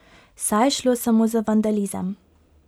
Saj je šlo samo za vandalizem.